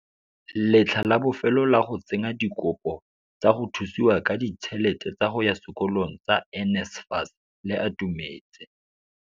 Letlha la bofelo la go tsenya dikopo tsa go thusiwa ka ditšhelete tsa go ya sekolong tsa NSFAS le atumetse.